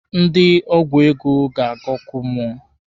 Ndị ọgwụ ego ga-aga ọkụ mmụọ.